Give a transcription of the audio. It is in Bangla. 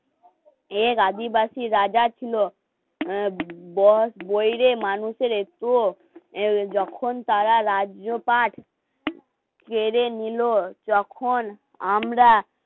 এক আদিবাসী রাজা ছিল অ্যা বস বইরে মানুষের একটুও যখন তাঁরা রাজ্যপাঠ কেরে নিলো যখন আমরা